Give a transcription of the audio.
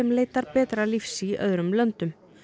leitar betra lífs í öðrum löndum